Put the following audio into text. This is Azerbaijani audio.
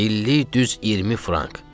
İllik düz 20 frank.